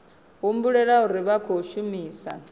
humbulela uri vha khou shumisa